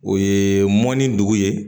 O ye mɔni ye